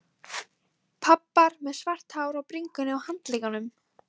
Pabbar með svart hár á bringunni og handleggjunum.